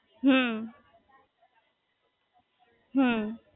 હમ્મ હમ્મ